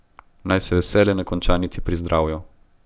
Naj se veselje ne konča niti pri zdravju.